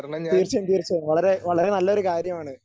തീർച്ചയായും തീർച്ചയായും വളരെ വളരെ നല്ലൊരു കാര്യമാണ്.